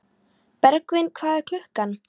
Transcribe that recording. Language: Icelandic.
Bergvin, hvað er klukkan?